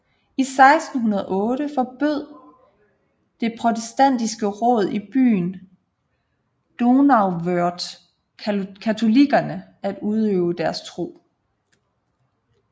I 1608 forbød det protestantiske råd i byen Donauwörth katolikkerne at udøve deres tro